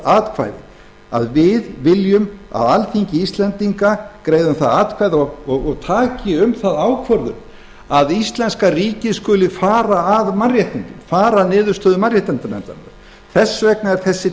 fái að greiða um það atkvæði og taki um það ákvörðun að íslenska ríkið skuli fara að mannréttindum fara að niðurstöðu mannréttindanefndarinnar